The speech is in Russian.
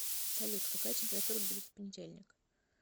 салют какая температура будет в понедельник